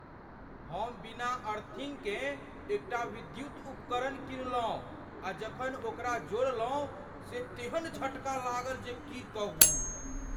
हम बिना अर्थिन्गकेँ एक टा विद्युत उपकरण किनलहुँ आ जखन ओकरा जोड़लहुँ से तेहन झटका लागल जे की कहू।